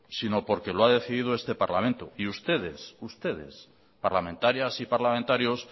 sino porque lo ha decidido este parlamento y ustedes parlamentarias y parlamentarios